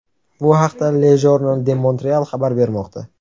Bu haqda Le Journal De Montreal xabar bermoqda .